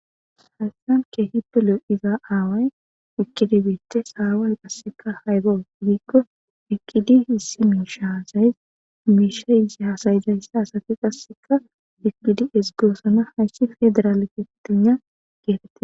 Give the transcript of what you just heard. haystan keehippelo iza aaway ekkidibeete saawaay qasseka haybo giikko ekkidi issi miisha hasays miisha ize hasayijayssa asati qasseka ekkidi esgoosana hayssi federaale ketina geetette